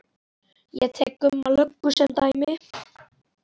Ég tek Gumma löggu sem dæmi.